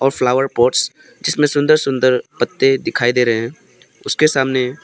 और flower pots जिसमें सुंदर सुंदर पत्ते दिखाई दे रहे हैं उसके सामने--